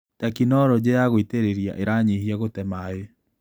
Tekinologĩ ya gũitĩrĩria iranyihia gũte maĩ.